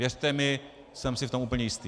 Věřte mi, jsem si v tom úplně jistý.